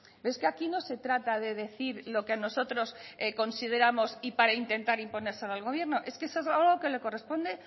pero es que aquí no se trata de decir lo que nosotros consideramos y para intentar imponérselo al gobierno es que eso es algo que le corresponde